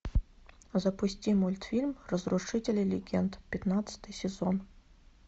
запусти мультфильм разрушители легенд пятнадцатый сезон